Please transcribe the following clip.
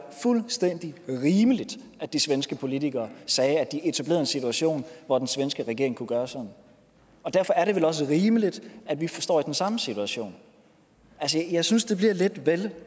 fuldstændig rimeligt at de svenske politikere sagde at de ville etablere en situation hvor den svenske regering kunne gøre sådan derfor er det vel også rimeligt at vi står i den samme situation jeg synes det bliver lidt vel